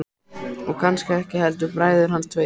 Og kannski ekki heldur bræður hans tveir.